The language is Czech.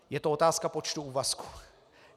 Je to otázka počtu úvazků.